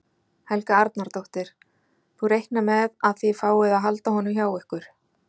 Helga Arnardóttir: Þú reiknar með að þið fáið að halda honum hjá ykkur?